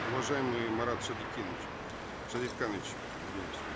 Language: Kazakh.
уважаемый марат шадикенович шадетханович извиняюсь